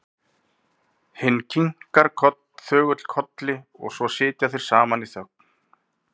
Hinn kinkar þögull kolli og svo sitja þeir saman í þögn.